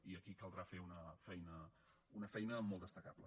i aquí caldrà fer una feina molt destacable